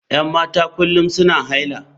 Yan mata kullum suna haila.